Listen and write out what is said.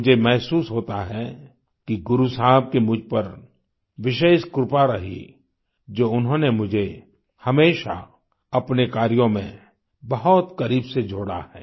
मुझे महसूस होता है कि गुरु साहब की मुझ पर विशेष कृपा रही जो उन्होंने मुझे हमेशा अपने कार्यों में बहुत करीब से जोड़ा है